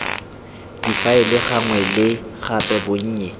difaele gangwe le gape bonnye